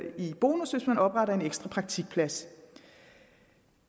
i bonus hvis man opretter en ekstra praktikplads